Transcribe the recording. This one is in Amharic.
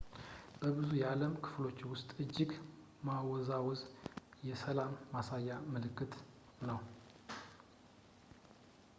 በብዙ የዓለም ክፍሎች ውስጥ እጅ ማወዛወዝ የ ሰላም” ማሳያ ምልክት ነው